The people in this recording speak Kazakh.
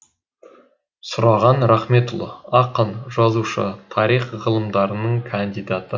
сұраған рахметұлы ақын жазушы тарих ғылымдарының кандидаты